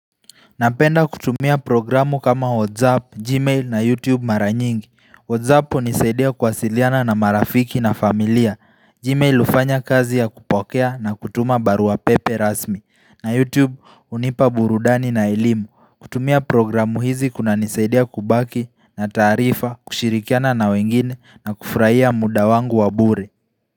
Napenda kutumia programu kama WhatsApp, Gmail na YouTube mara nyingi. WhatsApp unisaidia kuwasiliana na marafiki na familia. Gmail ufanya kazi ya kupokea na kutuma barua pepe rasmi. Na YouTube unipa burudani na ilimu. Kutumia programu hizi kunanisaidia kubaki na taarifa, kushirikiana na wengine na kufraia muda wangu wa bure.